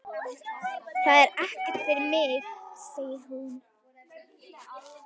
Það er ekkert fyrir mig, segir hún.